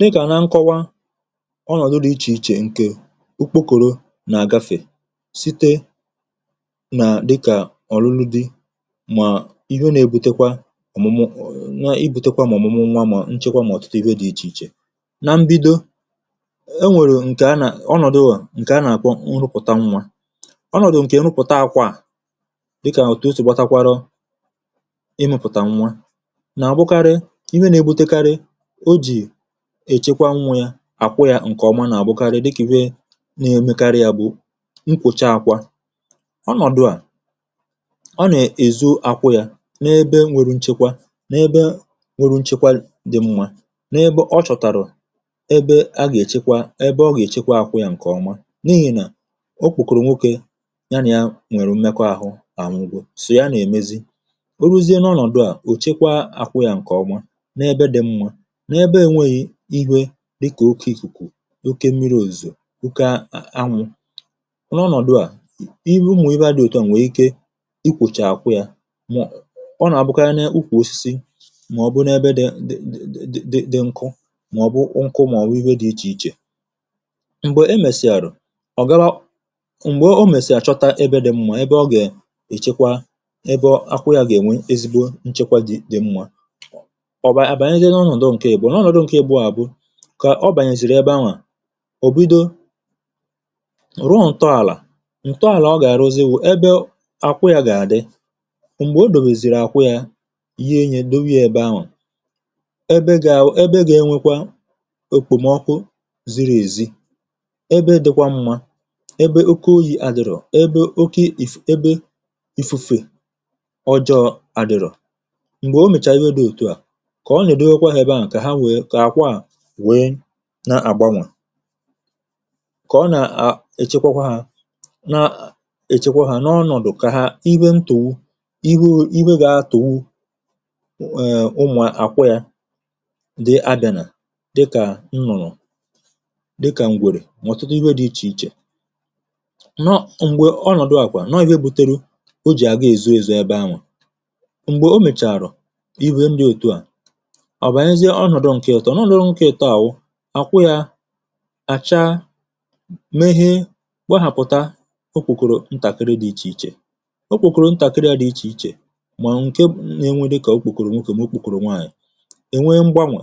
Dịgà nà nkọwa, ọnọ̀dụ dị̀ iche iche, ǹkè ukpokòrò nà àgafè sìte nà, dịkà ọ̀rụrụ dị. Mà ihe nà-ebutekwa ọ̀mụmụ nwa, ibutekwa mà ọ̀mụmụ nwa, mà nchekwa, mà ọ̀tụtụ ihe dị̇ iche iche. Nà mbido, e nwèrè ǹkè anà, ọnọ̀dụ ọ̀, ǹkè anà-àkwọ nrụpụ̀ta nwa... Ọnọ̀dụ ǹkè nrụpụ̀ta àkwà dịkà ọ̀tụosù, gbatakwara ịmụ̇pụ̀tà nwa, èchekwa, nwụ ya àkwụ yà. Ǹkèọma nà-àbụkarị dịkì ree, na-emekarị. Ya bụ nkwụcha àkwụ́ ọnọ̀dụ̀ à. Ọ nà-èzo àkwụ yà n’ebe nwere nchekwa, n’ebe nwere nchekwa dị mmȧ, n’ebe ọ chọ̀tàrọ̀ ebe a gà-èchekwa, ebe ọ gà-èchekwa àkwụ yà ǹkèọma. N’ihì nà okwùkòrò, nwokė ya nà ya nwèrè umekọ ahụ, nà àmụgwọ sụ̀ ya, nà-èmezi oruzie. Nà ọnọ̀dụ̀ à, ò chekwa àkwụ yà ǹkèọma, ihie dịkà oke ìkùkù, òkè mmiri̇, òzìò, ụkȧ, anwụ̇ nọ. Ọnọ̀dụ̀ à, ihe ụmụ̀, ihe a dị̀ òtù ahụ̀, nwè ike i kwụ̀chà àkwụ yà... Ọ nà-àbụkọ na-akwụkwọ̀ um osisi, mà ọ bụ̀ n’ebe dị̀ ǹdì dị nkụ, mà ọ bụ̀ nkụ, mà ọ bụ̀ ihe dị̀ iche iche. M̀gbè e mèsì àrụ̀, um ọ̀ gara. M̀gbè o mèsì àchọta ebe dị̀ mmȧ, ebe ọ gà-èchekwa. Ebe akwụ yà gà-ènwe ezigbo nchekwa dị mmȧ, kà ọ bànyèzìrì ebe ahụ̀. Ò bido ruo ntọàlà ntọàlà, ọ gà-àrụzi wụ̀ ebe àkwụ ya gà-àdị. M̀gbè o dòmèzìrì àkwụ ya, ye-enye dowia ebe ahụ̀. Ebe gà-ẹwọ̀, ebe gà-ẹnwẹkwa èkpòmọkụ ziri èzi. Ebe dịkwa mmȧ, ebe oké oyi àdịrọ̀, ebe oké èbe ịfụ̇fè ọjọọ àdịrọ̀. M̀gbè o mèchàa ya dị̇ òtu à, wèe na-àgbanwà. Kà ọ nà-èchekwàkwà hȧ, na-èchekwa hȧ n’ọnọ̀dụ̀, kà ha iwe ntùihu, iwe gị̇ atụ̀wu... Èè, ụmụ̀ akwọ yȧ di adɪe nà dịkà nnụ̀rụ̀, dịkà ǹgwèrè, nwọ̀tụtụ iwe dị iche iche nọ. M̀gbè ọnọ̀dụ àkwà nọọ̀, ihe butere o jì àga èzu ezu ebe ahụ̀. M̀gbè o mèchàrọ̀, iwe ndị òtù à, ǹọ̀, ọ nọ̀, nọ̀ n’ọ̀. Nwukė taa, àwụ à, kwụ yȧ àcha, mehi gbaghàpụ̀ta. Okwùkòrò ntàkịrị̇ dị iche iche, okwùkòrò ntàkịrị̇ ya dị̇ iche iche. Mà ǹke n’enwe.... dịkà okwùkòrò nwoke, mà okwùkòrò nwaanyị̀, ènwe mgbanwè,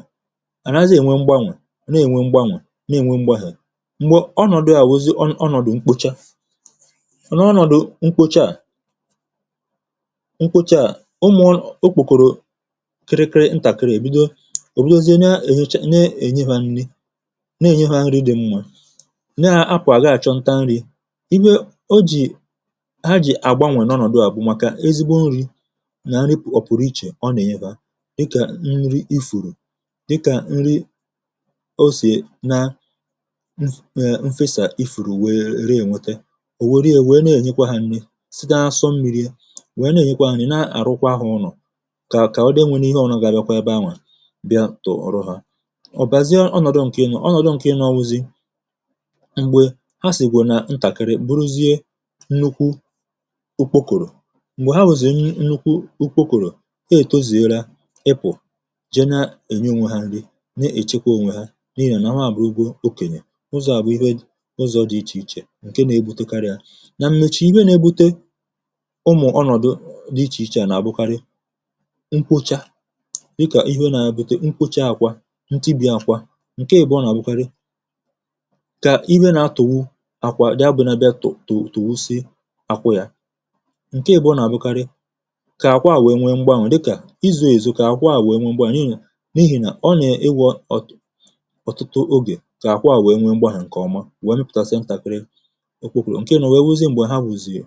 àrazie ènwe mgbanwè, nà ènwe mgbanwè, nà ènwe mgbanwè. M̀gbè ọnọ̀dụ̀ a wụ̀zi, ọn... ọnọ̀dụ̀ mkpuchi, ọnọ̀dụ̀ mkpocha, ọnọ̀dụ̀ mkpocha à, mkpocha à. Ụmụ̇ okwùkòrò ǹne, ènye ha nri, na-ènye ha nri. Dị̀ m nwa, na-akwà, ga-àchọ nta nri̇. um Iwe o jì ha, jì àgbanwè, nànọ̀dụ, àbụ̀màkà ezigbo nri̇ nà a. Nri ọ̀pụ̀rụ, iche ọ nà ènye ha, dịkà nri ifùrù, dịkà nri osè. Na ee, mfesà ifùrù, wèe ree, ènwete ò, wère, wee wère, wèe na-ènyekwa ha nri̇. Site asọ mmiri̇, wee nà ènyekwa ha nri̇, na-àrụkwa ha ụnọ̀, kà ka o deenwė, nwe ihe ọṅọ̀ ga bịakwa ebe ahụ̀. Ọ̀ bàzie ọnọ̀dụ ǹkè enu̇, ọnọ̀dụ ǹkè enu ọwụzi̇. M̀gbè ha um sìgwè na ntàkịrị, bụrụzie nnukwu ukpokòrò. M̀gbè ha wùzì nnukwu ukpokòrò, e tozìela, ịpụ̀ jena enu. um Ònwe ha nri, na-èchekwa ònwe. N’ihì à nà nwaàbụ̀rụgwu, okènyè ụzọ̀. À bụ̀ ihe.. ụzọ̇ dị iche iche, ǹke na-egbutekarị ha nà m̀mechà ibe, n’ebute ụmụ̀ ọnọ̀dụ dị iche iche. Nà-àbụkarị... mkpocha ntibi, ya akwa ǹke ị̀bụọ, nà-àgbụkarị kà iwe na-atụ̀wụ àkwà. Daa bụ̀ nabịa, tụ̀tụ̀wụsị àkwà ya, ǹke àgbụkarị kà akwa à, wèe nwee m̀gbanwè, dịkà izu̇ èzu, kà akwa à, wèe nwee m̀gbanwè. Nà n’ihì nà ọ nà-ewè ọ̀, ọ̀tụtụ ogè, kà akwa à, wèe nwee m̀gbanwè. Ǹkè ọma, wèe mipùta. Sị ntàkịrị okwùkòrò ǹke nọ, wèe wụzị um m̀gbè ha gbùzìị.